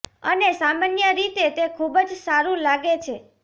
અને સામાન્ય રીતે તે ખૂબ જ સારું લાગે છે